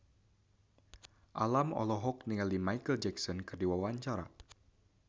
Alam olohok ningali Micheal Jackson keur diwawancara